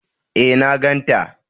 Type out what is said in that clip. E, na ganta.